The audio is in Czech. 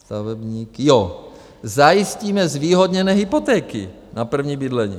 Stavebník, jo: Zajistíme zvýhodněné hypotéky na první bydlení.